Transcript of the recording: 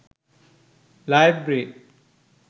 library